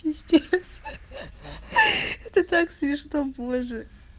пиздец это так смешно боже